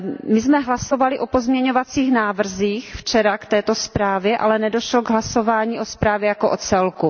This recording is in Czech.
My jsem včera hlasovali o pozměňovacích návrzích k této zprávě, ale nedošlo k hlasování o zprávě jako o celku.